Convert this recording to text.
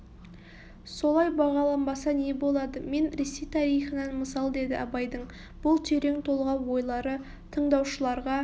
солай бағаланбаса не болады мен ресей тарихынан мысал деді абайдың бұл терең толғау ойлары тыңдаушыларға